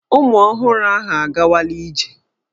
Ụmụ ọhụrụ ahụ a gawala ije.